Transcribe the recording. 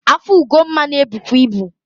Afọ Ugonma na ebukwu ibu.